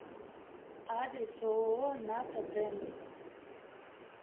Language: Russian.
адрес ооо ната дент